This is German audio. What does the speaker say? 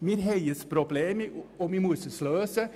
» Wir haben ein Problem, und das müssen wir lösen.